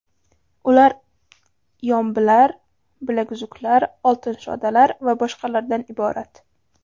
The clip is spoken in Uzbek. Ular yombilar, bilaguzuklar, oltin shodalar va boshqalardan iborat.